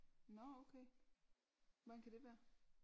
Nåh okay hvordan kan det være